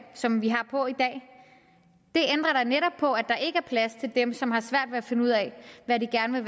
som vi har på i da netop på at der ikke er plads til dem som har svært ved at finde ud af hvad de gerne